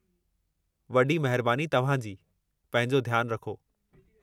वॾी महिरबानि तव्हां जी। पंहिंजो ध्यानु रखो।